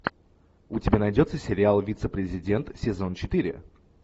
у тебя найдется сериал вице президент сезон четыре